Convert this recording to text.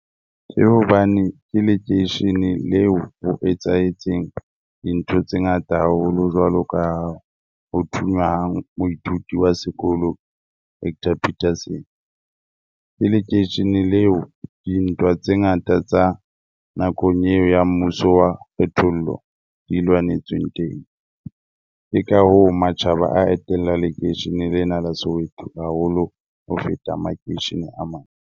Ke hobane ke lekeisheneng leo o etsahetseng dintho tse ngata haholo jwalo ka ho thunya ha moithuti wa sekolo Hector Peterson. Ke lekeisheneng leo dintwa tse ngata tsa nakong eo ya mmuso wa kgethollo di lwanetsweng teng. Ke ka hoo matjhaba a etella lekeishene lena la Soweto haholo ho feta makeishene a mang.